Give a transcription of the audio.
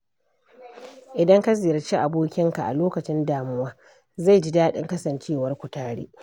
Idan ka ziyarci abokinka a lokacin damuwa, zai ji daɗin kasancewarku tare.